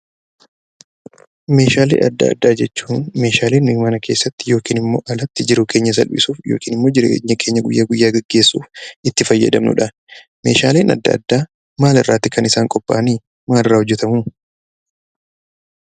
Meeshaalee addaa addaa jechuun, Meeshaalee nuti mana keessatti yookiin alatti jiruu keenya salphisuuf jireenya keenya guyyaa guyyaa gaggeessuuf itti fayyadamnudha. Meeshaaleen addaa addaa maalirraa kan qopha a'anii? Maalirraa hojjetamu?